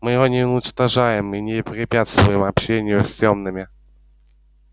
мы его не уничтожаем и не препятствуем общению с тёмными